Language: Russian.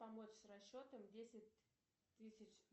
помочь с расчетом десять тысяч